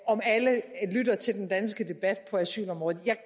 om alle lytter til den danske debat på asylområdet jeg